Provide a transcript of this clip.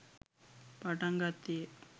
පටන් ගත්තේ ය.